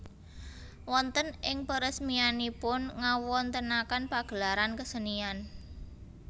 Wonten ing peresmianipun ngawontenaken pagelaran kesenian